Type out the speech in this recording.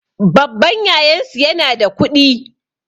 Babban yayansu yana da kuɗi